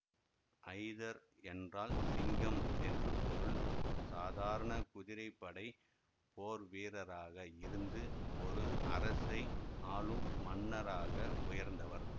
ஐதர் என்றால் சிங்கம் என்று பொருள் சாதாரண குதிரை படை போர்வீரராக இருந்து ஒரு அரசை ஆளும் மன்னராக உயர்ந்தவர்